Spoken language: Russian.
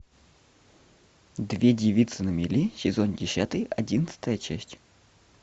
две девицы на мели сезон десятый одиннадцатая часть